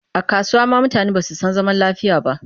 A kasuwa ma mutane ba su san zaman lafiya